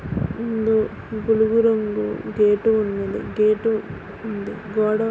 ఇందు బులుగు రంగు గేటు ఉన్నదీ. గేటు ఉంది. గోడ--